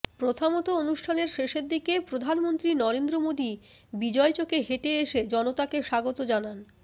প্রথামতো অনুষ্ঠানের শেষের দিকে প্রধানমন্ত্রী নরেন্দ্র মোদী বিজয়চকে হেঁটে এসে জনতাকে স্বাগত জানান